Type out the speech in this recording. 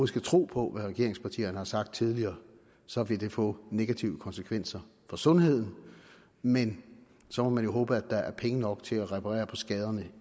skal tro på hvad regeringspartierne har sagt tidligere så vil det få negative konsekvenser for sundheden men så må man jo håbe at der er penge nok til at reparere på skaderne